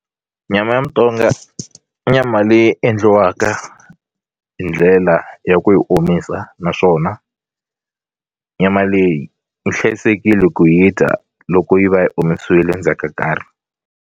Nyama ya mutonga i nyama leyi endliwaka hi ndlela ya ku yi omisa naswona nyama leyi yi hlayisekile ku yi dya loko yi va yi omisiwile ndzhaka ka nkarhi.